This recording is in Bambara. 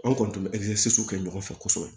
An kɔni tun bɛ kɛ ɲɔgɔn fɛ kosɛbɛ